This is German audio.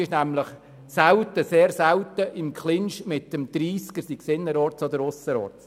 Man ist nämlich sehr selten im Clinch mit dem Tempo 30, sei es innerorts oder sei es ausserorts.